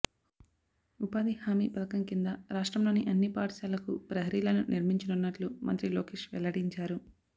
ఉపాధి హామీ పథకం కింద రాష్ట్రంలోని అన్ని పాఠశాలలకు ప్రహరీలను నిర్మించనున్నట్లు మంత్రి లోకేష్ వెల్లడించారు